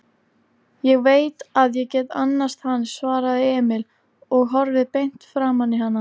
Ég veit að ég get annast hann, svaraði Emil og horfði beint framaní hana.